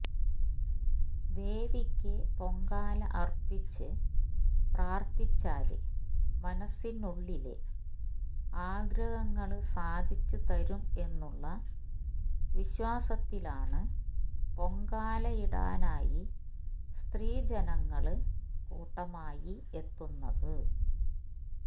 ദേവിക്ക് പൊങ്കാല അര്പ്പിച്ച് പ്രാര്ത്ഥിച്ചാല് മനസിനുള്ളിലെ ആഗ്രഹങ്ങള് സാധിച്ച് തരും എന്നുള്ള വിശ്വാസത്തിലാണ് പൊങ്കാലയിടാനായി സ്ത്രീജനങ്ങള് കൂട്ടമായി എത്തുന്നത്